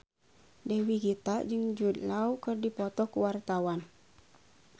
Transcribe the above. Dewi Gita jeung Jude Law keur dipoto ku wartawan